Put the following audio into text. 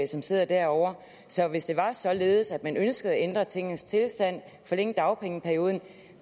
som sidder derovre så hvis det er således at man ønsker at ændre tingenes tilstand og forlænge dagpengeperioden